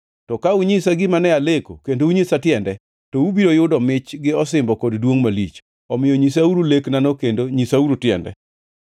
To ka unyisa gima ne aleko kendo unyisa tiende, to ubiro yudo mich gi osimbo kod duongʼ malich. Omiyo nyisauru leknano kendo nyisauru tiende.”